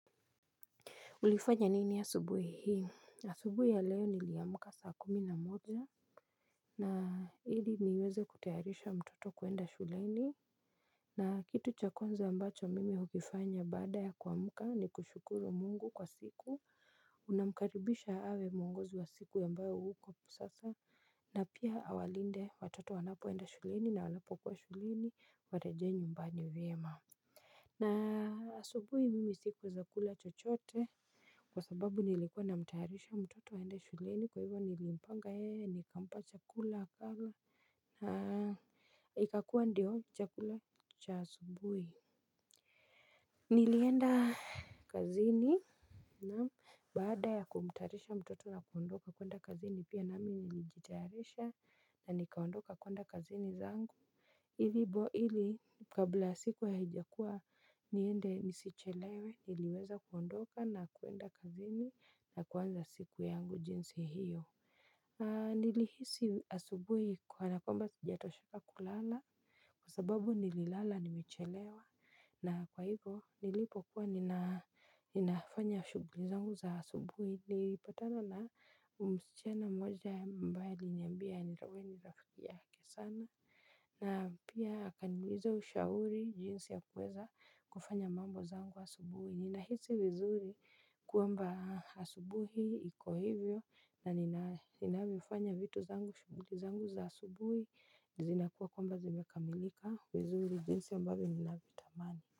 Ulifanya nini asubuhi hii? Asubuhi ya leo niliyamuka saa kumi na moja. Na ili niweze kutayarisha mtoto kuenda shuleni. Na kitu cha kwanza ambacho mimi hukifanya baada ya kuamuka ni kushukuru mungu kwa siku. Unamkaribisha awe mungozi wa siku ambayo uko sasa. Na pia awalinde watoto wanapoenda shuleni na wanapo kuwa shuleni. Warejee nyumbani vyema. Na asubui mimi sikueza kula chochote kwa sababu nilikuwa na mtayarisha mtoto aende shuleni kwa hivyo nilimpanga yeye nikampa chakula hapa na ikakua ndiyo chakula cha asubui. Nilienda kazini na baada ya kumtaarisha mtoto na kuondoka kuenda kazini pia na mimi nilijitaarisha na nikaondoka kwenda kazini zangu. Hilibo hili kabla siku ya hijakua niende nisichelewe niliweza kuondoka na kuenda kazini na kuwanza siku yangu jinsi hiyo. Nilihisi asubui kanakwmba sijatosheka kulala. Kwa sababu nililala nimechelewa na kwa hivyo nilipo kuwa ninafanya shuguli zangu za asubuhi nilipatana na msichana mmoja ambaye alinyambia nilowe ni rafiki yake sana. Na pia akaniuliza ushauri jinsi ya kuweza kufanya mambo zangu wa asubuhi. Ninahisi vizuri kwamba asubuhi iko hivyo na ninavyofanya vitu zangu shuguli zangu za asubuhi zinakuwa kwamba zimekamilika vizuri jinsi ambavyo ninavitamani.